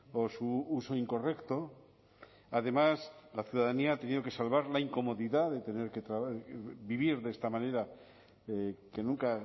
o su uso incorrecto además la ciudadanía ha tenido que salvar la incomodidad de tener que vivir de esta manera que nunca